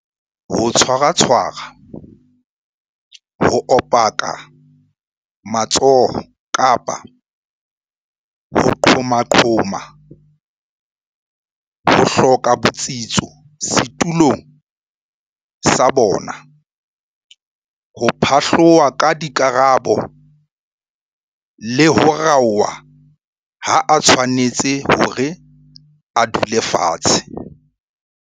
ho tshwaratshwara ho opaka matsoho kapa ho qhomaqhoma ho hloka botsitso setulong sa bona ho phatloha ka dikarabo le ho raoha ha a tshwanetse hore a dule fatshe.